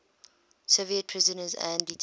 soviet prisoners and detainees